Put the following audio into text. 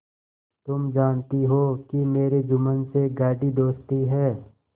तुम जानती हो कि मेरी जुम्मन से गाढ़ी दोस्ती है